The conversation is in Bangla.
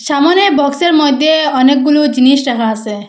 সামোনে বক্সের মইধ্যে অনেকগুলু জিনিস রাখা আসে।